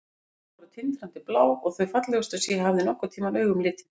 Augun voru tindrandi blá og þau fallegustu sem ég hafði nokkurn tímann augum litið.